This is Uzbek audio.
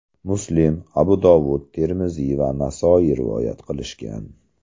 Muslim, Abu Dovud, Termiziy va Nasoiy rivoyat qilishgan.